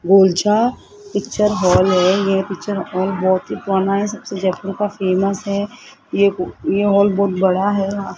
Golchha picture hall है ये picture hall बहोत ही पुराना है सबसे जयपुर का फेमस है ये हाल बहोत बड़ा है।